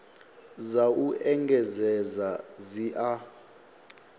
dza u engedzedza dzi a